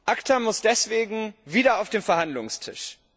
ACTA muss deswegen wieder auf den Verhandlungstisch.